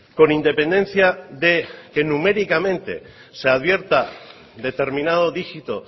con independencia de que numéricamente se advierta determinado digito